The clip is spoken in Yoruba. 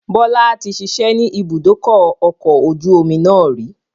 Bọlá tí ṣiṣẹ́ ni ibùdókọ̀ ọkọ̀ ojú omi náà rì